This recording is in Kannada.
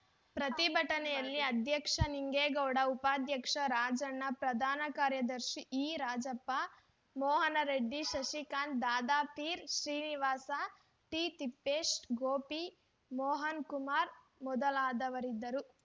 ಪ್ರತಿಭಟನೆಯಲ್ಲಿ ಅಧ್ಯಕ್ಷ ನಿಂಗೇಗೌಡ ಉಪಾಧ್ಯಕ್ಷ ರಾಜಣ್ಣ ಪ್ರಧಾನ ಕಾರ್ಯದರ್ಶಿ ಇರಾಜಪ್ಪ ಮೋಹನ್‌ರೆಡ್ಡಿ ಶಶಿಕಾಂತ್‌ ದಾದಾಪೀರ್‌ ಶ್ರೀನಿವಾಸ ಟಿತಿಪ್ಪೇಶ್‌ ಗೋಪಿ ಮೋಹನ್‌ಕುಮಾರ್‌ ಮೊದಲಾದವರಿದ್ದರು